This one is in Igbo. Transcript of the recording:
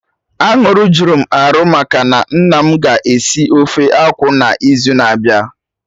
Aṅụrị jụrụ m arụ maka na nna mụ ga esi ofe akwụ n'izu na-abịa